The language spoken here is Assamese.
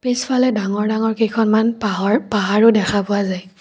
পিছফালে ডাঙৰ ডাঙৰ কেইখনমান পাহৰ পাহাৰো দেখা পোৱা যায়।